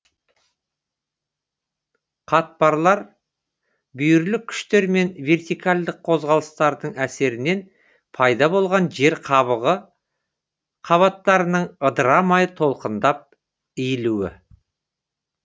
қатпарлар бүйірлік күштер мен вертикальдық қозғалыстардың әсерінен пайда болған жер қабығы қабаттарының ыдырамай толқынданып иілуі